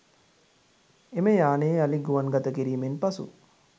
එම යානය යළි ගුවන් ගතකිරීමෙන් පසු